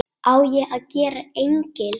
Á ég að gera engil?